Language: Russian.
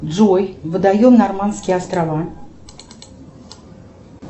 джой водоем нормандские острова